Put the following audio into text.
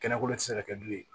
Kɛnɛko tɛ se ka kɛ du ye